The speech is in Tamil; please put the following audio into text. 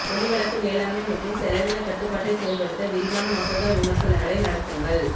ஒலி வழக்கு மேலாண்மை மற்றும் செலவின கட்டுப்பாட்டை செயல்படுத்த விரிவான மசோதா விமர்சனங்களை நடத்துங்கள்